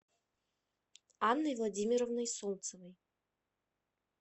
анной владимировной солнцевой